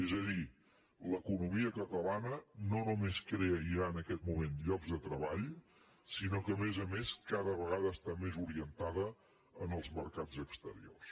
és a dir l’economia catalana no només crea ja en aquest moment llocs de treball sinó que a més a més cada vegada està més orientada als mercats exteriors